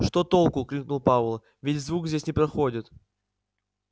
что толку крикнул пауэлл ведь звук здесь не проходит